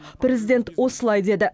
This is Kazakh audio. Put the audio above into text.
президент осылай деді